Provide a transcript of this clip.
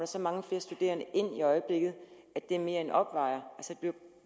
så mange flere studerende ind i øjeblikket at det mere end opvejer dette